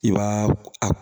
I b'a a